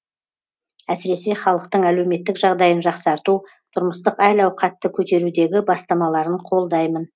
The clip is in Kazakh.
әсіресе халықтың әлеуметтік жағдайын жақсарту тұрмыстық әл ауқатты көтерудегі бастамаларын қолдаймын